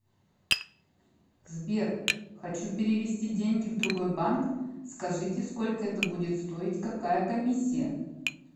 сбер хочу перевести деньги в другой банк скажите сколько это будет стоить какая комиссия